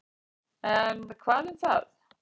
En, hvað um það.